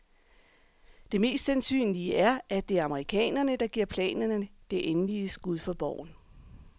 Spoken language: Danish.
Det mest sandsynlige er, at det er amerikanerne, der giver planerne det endelige skud for boven.